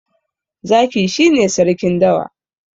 zaki shi ne sarkin dawa